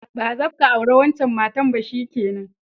Ba zabka aure wancan matan ba, shikenan!